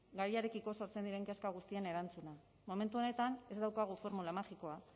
gaiarekiko sortzen diren kezka guztien erantzuna momentu honetan ez daukagu formula magikoa